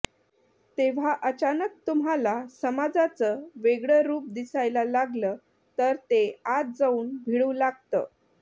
तेव्हा अचानक तुम्हाला समाजाचं वेगळं रुप दिसायला लागलं तर ते आत जाऊन भिडू लागतं